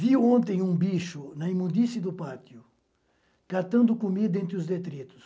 Vi ontem um bicho na imundície do pátio, catando comida entre os detritos.